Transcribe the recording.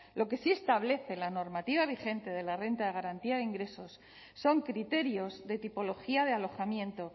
lo que sí establece la normativa vigente de la renta de garantía de ingresos son criterios de tipología de alojamiento